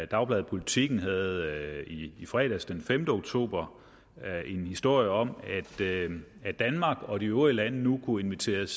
dagbladet politiken havde i fredags den femte oktober en historie om at danmark og de øvrige lande nu kunne inviteres